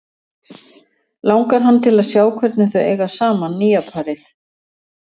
Langar hann til að sjá hvernig þau eiga saman, nýja parið?